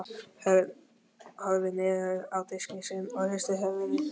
Örn horfði niður á diskinn sinn og hristi höfuðið.